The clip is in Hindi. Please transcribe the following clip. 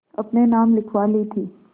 अपने नाम लिखवा ली थी